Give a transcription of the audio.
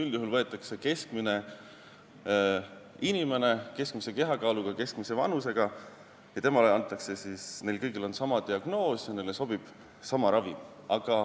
Üldjuhul võetakse keskmine inimene, keskmise kehakaaluga, keskmise vanusega ja kõigil on sama diagnoos, neile peab sobima sama ravim.